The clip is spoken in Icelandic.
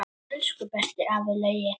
Elsku besti afi Laugi.